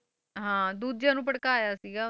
ਹਾਂ ਦੂਜਿਆਂ ਨੂੰ ਭੜਕਾਇਆ ਸੀਗਾ,